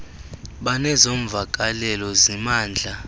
banezo mvakalelo zimandla